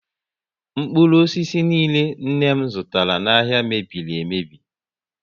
Mkpụrụ osisi niile nne m zụtara n'ahia mebiri emebi